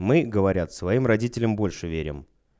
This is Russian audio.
мы говорят своим родителям больше верим